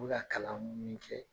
U be ka kalan munun kɛ